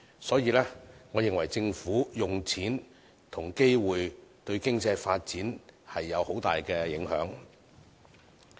所以，我認為政府怎樣利用金錢和機會，對經濟發展會有很大影響。